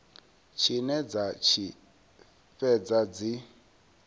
tshine dza tshi fhedza dzi